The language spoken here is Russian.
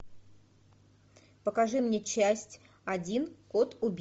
покажи мне часть один код